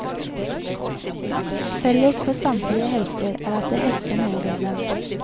Felles for samtlige helter er at det hefter noe ved dem.